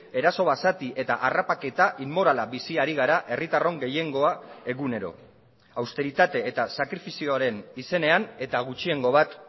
eraso basati eta harrapaketa inmorala bizi ari gara herritarron gehiengoa egunero austeritate eta sakrifizioaren izenean eta gutxiengo bat